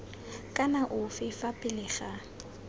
kana ofe fa pele ga